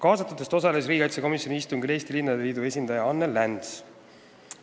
Nendest osales riigikaitsekomisjoni istungil Eesti Linnade Liidu esindaja Anne Läns.